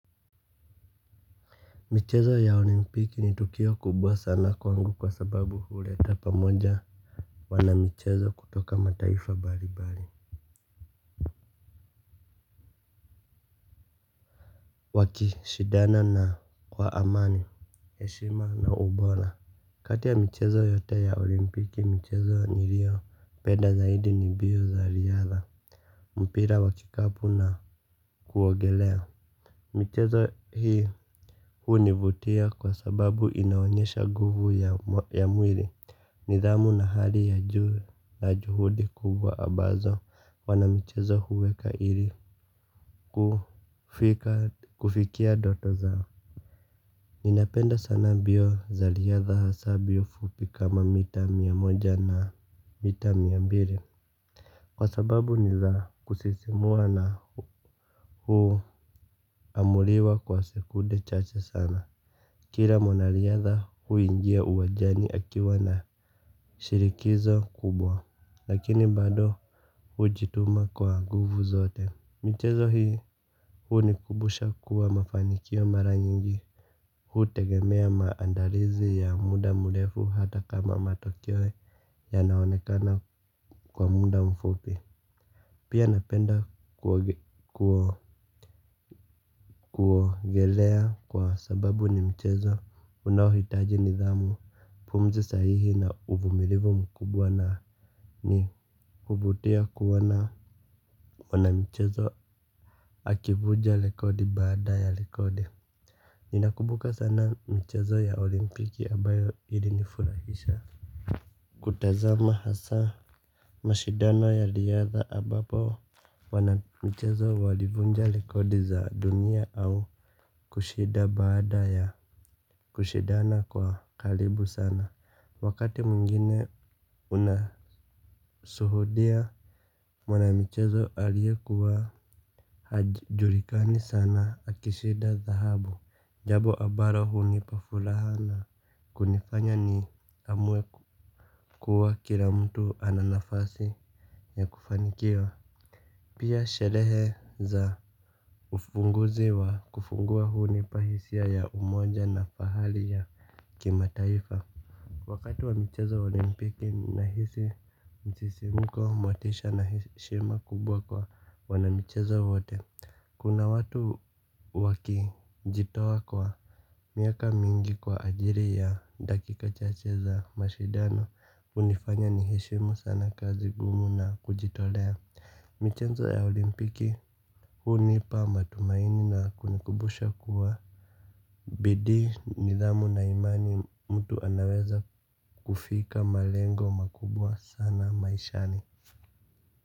Michezo ya olimpiki ni tukio kubwa sana kwangu kwa sababu huleta pamoja wana michezo kutoka mataifa mbalimbali. Wakishidana na kwa amani, heshima na ubora. Kati ya michezo yote ya olimpiki michezo niliopenda zaidi ni mbio za riadha mpira wa kikapu na kuogelea. Michezo hii hunivutia kwa sababu inaonyesha nguvu ya mwili nidhamu na hali ya juu na juhudi kubwa ambazo wanamichezo huweka ili kufikia ndoto zao. Ninapenda sana mbio za riadha hasaa mbio fupi kama mita mia moja na mita mia mbili kwa sababu ni za kusisimua na huamuliwa kwa sekunde chache sana. Kila mwanariadha huingia uwanjani akiwa na shinikizo kubwa. Lakini bado hujituma kwa nguvu zote. Michezo hii hunikumbusha kuwa mafanikio mara nyingi hutegemea maandalizi ya muda mrefu hata kama matokeo yanaonekana kwa muda mfupi. Pia napenda kuogelea kwa sababu ni mchezo unaohitaji nidhamu, pumzi sahihi na uvumilivu mkubwa na ni huvutia kuona wanamichezo akivunja rekodi baada ya rekodi. Ninakumbuka sana mchezo ya olimpiki ambayo ilinifurahisha. Kutazama hasaa mashindano ya riadha ambapo wanamichezo walivunja rekodi za dunia au kushinda baada ya kushindana kwa karibu sana. Wakati mwingine unashuhudia mwanamichezo aliyekuwa hajulikani sana akishinda dhahabu. Jambo ambalo hunipa furaha na kunifanya ni amue kuwa kila mtu ana nafasi ya kufanikiwa. Pia sherehe za ufunguzi wa kufungua hunipa hisia ya umoja na fahari ya kimataifa. Wakati wa michezo wa olimpiki ninahisi msisimko motisha na heshima kubwa kwa wanamichezo wote. Kuna watu wakijitoa kwa miaka mingi kwa ajili ya dakika chache za mashindano hunifanya niheshimu sana kazi ngumu na kujitolea, michezo ya olimpiki. Hunipa matumaini na kunikumbusha kuwa bidii, nidhamu na imani mtu anaweza kufika malengo makubwa sana maishani.